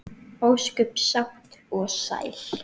Ósköp sátt og sæl.